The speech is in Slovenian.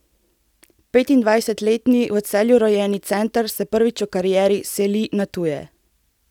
Petindvajsetletni v Celju rojeni center se prvič v karieri seli na tuje.